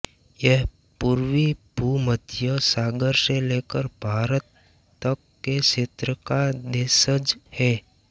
यह पूर्वी भूमध्य सागर से लेकर भारत तक के क्षेत्र का देशज है